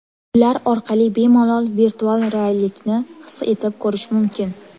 Ular orqali bemalol virtual reallikni his etib ko‘rish mumkin.